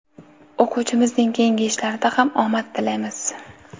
O‘quvchimizning keyingi ishlarida ham omad tilaymiz!.